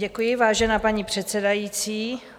Děkuji, vážená paní předsedající.